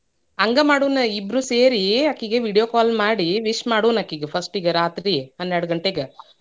ಹಂಗ ಮಾಡುಣ ಇಬ್ರೂ ಸೇರಿ ಆಕಿಗ್ video call ಮಾಡಿ wish ಮಾಡೋಣ ಅಕಿಗೆ first ರಾತ್ರಿ ಹನ್ನೆರಡುಗಂಟೆಗ.